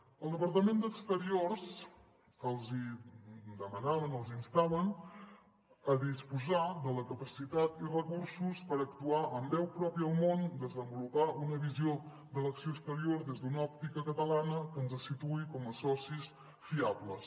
al departament d’exteriors els hi demanaven els instaven a disposar de la capacitat i recursos per actuar amb veu pròpia al món desenvolupar una visió de l’acció exterior des d’una òptica catalana que ens situï com a socis fiables